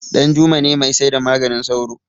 danjuma ne mai saida maganin sauro